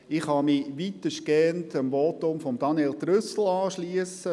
Ich kann mich weitestgehend dem Votum von Daniel Trüssel anschliessen.